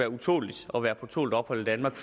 utåleligt at være på tålt ophold i danmark